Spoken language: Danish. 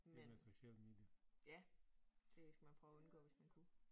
Men ja det skal man prøve at undgå hvis man kunne